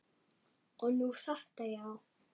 Og nú þetta, já.